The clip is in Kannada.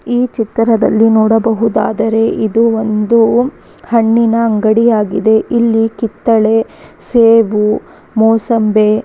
ಈ ಚಿತ್ರದಲ್ಲಿ ನೋಡಬಹುದಾದರೆ ಇದು ಒಂದು ಹಣ್ಣಿನ ಅಂಗಡಿ ಆಗಿದೆ ಇಲಿ ಕಿತ್ತಳೆ ಸೇಬು ಮೋಸಂಬೆ.